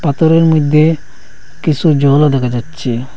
পাথরের মইধ্যে কিসু জলও দেকা যাচ্চে।